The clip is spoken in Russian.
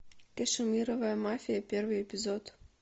кашемировая мафия первый эпизод